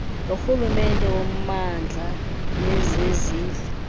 lorhulumente wommandla nezezindlu